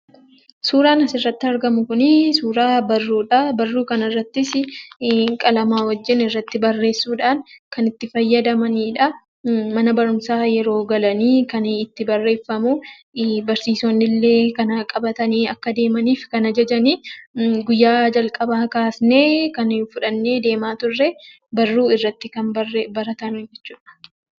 Suuraan asirratti argamu kun suuraa barruudha. Barruu kanarratti qalamaan irratti barreesuudhaan kan itti fayyadamaniidha. Mana barumsaa yeroo galan kan itti barreeffamu barsiisonni illee kana qabatanii akka adeemaniif kan ajajan guyyaa jalqabaa kaafnee kan fudhannee deemaa turre kan irratti barreessinu jechuudha.